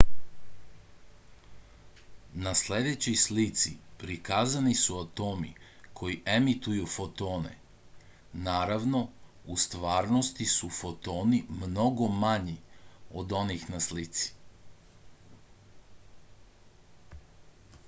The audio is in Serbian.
na sledećoj slici prikazani su atomi koji emituju fotone naravno u stvarnosti su fotoni mnogo manji od onih na slici